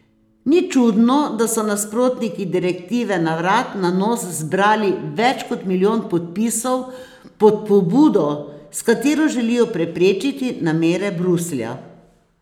Ni čudno, da so nasprotniki direktive na vrat na nos zbrali več kot milijon podpisov pod pobudo, s katero želijo preprečiti namere Bruslja.